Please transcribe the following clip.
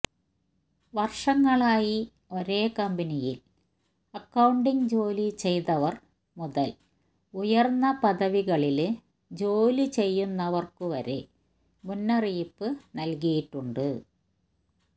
വര്ഷങ്ങളായി ഒരേ കമ്പനിയില് അക്കൌണ്ടിങ് ജോലി ചെയ്തവര് മുതല് ഉയര്ന്ന പദവികളില് ജോലി ചെയ്യുന്നവര്ക്കു വരെ മുന്നറിയിപ്പ് നല്കിയിട്ടുണ്ട്